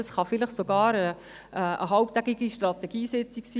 Es kann vielleicht sogar eine halbtätige Strategiesitzung sein.